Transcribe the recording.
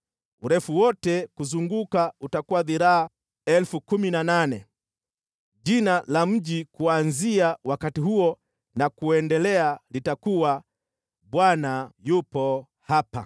“Urefu wote kuzunguka utakuwa dhiraa 18,000. “Nalo jina la mji huo kuanzia wakati huo na kuendelea litakuwa: Bwana yupo hapa.”